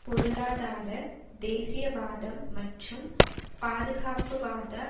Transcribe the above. பொருளாதார தேசியவாதம் மற்றும் பாதுகாப்புவாத